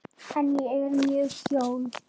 En ég er með hjól.